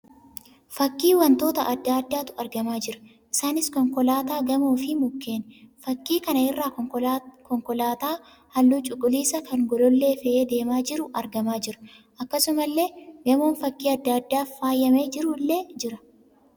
Fakkii wantooata adda addaatu argamaa jira. Isaaniis: konkolaataa, gamoo fi mukeeni. Fakkii kana irraa konkolaalaa halluu cuquliisa kan golollee fe'ee deemaa jiru argamaa jira. Akkasumallee gamoon fakkii adda addaa faayyamee jiru illee jira.